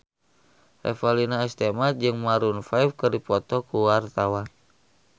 Revalina S. Temat jeung Maroon 5 keur dipoto ku wartawan